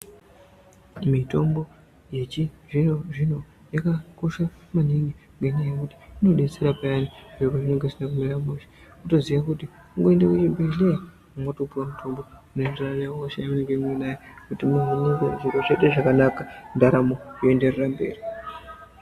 Mitombo yechizvino zvino yakakosha maningi ngenyaa yekuti inodetsera maningi zviro pezvinenga zvisina kumira mushe, wotoziye kuti kungoende kuchibhedhleya wotopuwa mutombo unoenderana nehosha yaunenga unayo kuti uvhenekwe zviro zvoite zvakanaka, ndaramo yoenderera mberi.